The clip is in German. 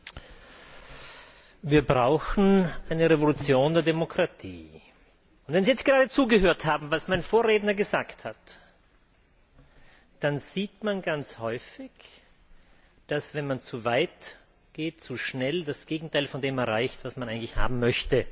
Herr Präsident! Wir brauchen eine Revolution der Demokratie! Wenn Sie gerade zugehört haben, was mein Vorredner gesagt hat, dann sieht man ganz häufig, dass, wenn man zu weit geht und zu schnell, das Gegenteil von dem erreicht wird, was man eigentlich haben möchte.